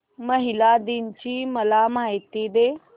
महिला दिन ची मला माहिती दे